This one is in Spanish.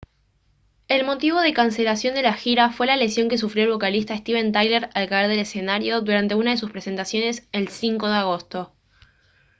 el motivo de la cancelación de la gira fue la lesión que sufrió el vocalista steven tyler al caer del escenario durante una de sus presentaciones el 5 de agosto